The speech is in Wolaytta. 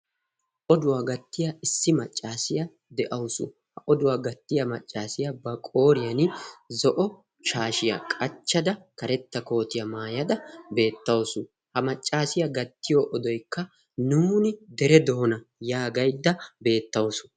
ha oduwaa gattiya issi maccaasiyaa deawusu. ha oduwaa gattiya maccaasiyaa ba qooriyan zo'o shaashiyaa qachchada karetta kootiyaa maayada beettawusu. ha maccaasiyaa gattiyo odoikka 'nuuni dere doona' yaagaidda beettawusu.